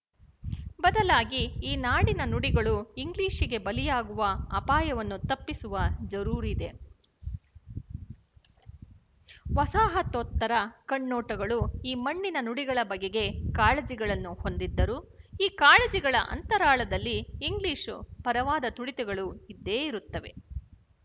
ಬದಲಾಗಿ ಈ ನಾಡಿನ ನುಡಿಗಳು ಇಂಗ್ಲಿಶಿಗೆ ಬಲಿಯಾಗುವ ಅಪಾಯವನ್ನು ತಪ್ಪಿಸುವ ಜರೂರಿದೆ ವಸಾಹತೋತ್ತರ ಕಣ್ನೋಟಗಳು ಈ ಮಣ್ಣಿನ ನುಡಿಗಳ ಬಗೆಗೆ ಕಾಳಜಿಗಳನ್ನು ಹೊಂದಿದ್ದರೂ ಈ ಕಾಳಜಿಗಳ ಅಂತರಾಳದಲ್ಲಿ ಇಂಗ್ಲಿಶು ಪರವಾದ ತುಡಿತಗಳು ಇದ್ದೇ ಇರುತ್ತವೆ